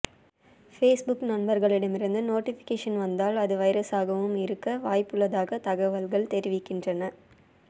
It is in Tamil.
பேஸ்புக்கில் நண்பர்களிடமிருந்து நோட்டிபிகேஷன் வந்தால் அது வைரஸாகவும் இருக்க வாய்ப்புள்ளதாக தகவல்கள் தெரிவிக்கின்றன